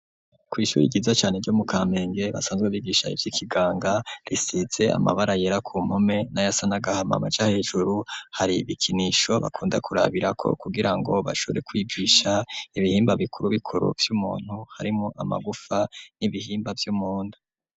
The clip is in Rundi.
Kw'ishure ryiza cane ryo mu kamenge basanzwe bigisha ivy'ikiganga risize amabara yera ku mpome nayasa nagahamama canke hejuru hari ibikinisho bakunda kurabira ko kugirango bashure kwibwisha ibihimba bikuru bikuru vy'umuntu harimwo amagufa n'ibihimba vy'umuntu.